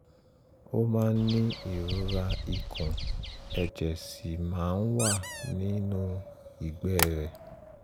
ó máa ń ní ìrora ikùn ẹ̀jẹ̀ sì máa ń wà nínú ìgbẹ́ rẹ̀